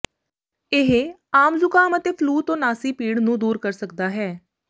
ਇਹ ਆਮ ਜ਼ੁਕਾਮ ਅਤੇ ਫਲੂ ਤੋਂ ਨਾਸੀ ਭੀੜ ਨੂੰ ਦੂਰ ਕਰ ਸਕਦਾ ਹੈ